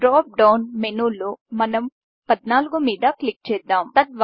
drop down మెనూలో మనం 14 మీద క్లిక్ చేద్దాం